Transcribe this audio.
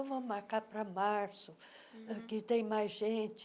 vamos marcar para março uh, que tem mais gente.